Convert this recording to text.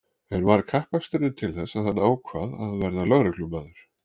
En var kappaksturinn til þess að hann ákvað að verða lögreglumaður?